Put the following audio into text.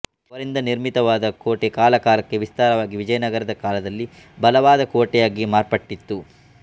ಅವರಿಂದ ನಿರ್ಮಿತವಾದ ಕೋಟೆ ಕಾಲಕಾಲಕ್ಕೆ ವಿಸ್ತಾರವಾಗಿ ವಿಜಯನಗರದ ಕಾಲದಲ್ಲಿ ಬಲವಾದ ಕೋಟೆಯಾಗಿ ಮಾರ್ಪತಟಿತ್ತು